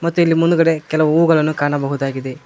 ಮತ್ತು ಇಲ್ ಮುಂದ್ಗಡೆ ಕೆಲವು ಹೂವುಗಳನ್ನು ಕಾಣಬಹುದಾಗಿದೆ.